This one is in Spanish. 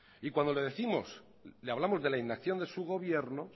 y cuando le décimos le hablamos de la inacción de su gobierno